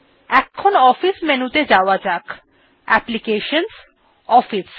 এবার office menu ত়ে যাওয়া যাক applications গটফিস